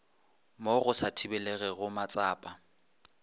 mo go sa thibelegego matsapa